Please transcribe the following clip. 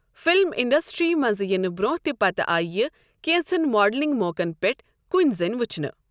Film industry منٛز یِنہٕ برٛونٛہہ تہٕ پتہٕ آیہ یہِ كینژن ماڈلٛنگ موقن پِٹھ كُنی زٕنۍ ؤچھنہٕ ۔